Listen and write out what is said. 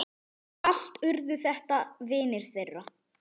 Allt urðu þetta vinir þeirra.